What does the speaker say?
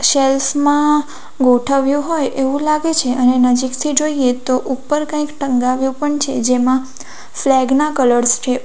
shells માં ગોઠવ્યું હોય એવું લાગે છે અને નજીકથી જોઈએ તો ઉપર કંઈક ટંગાવ્યુ પણ છે જેમાં ફ્લેગ ના કલર્સ છે ઉ --